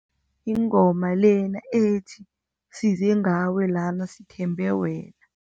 Ingoma lena ethi, size ngawe lana sithembe wena.